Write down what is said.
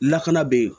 Lakana bɛ yen